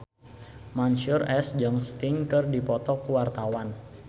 Mansyur S jeung Sting keur dipoto ku wartawan